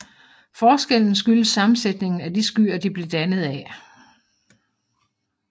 Forskellen skyldes sammensætningen af de skyer de blev dannet af